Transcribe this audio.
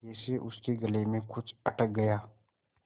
जैसे उसके गले में कुछ अटक गया